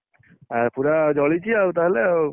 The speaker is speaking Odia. ଆଉ ପୁରା ଜଳିଛି ଆଉ ତାହେଲେ ଆଉ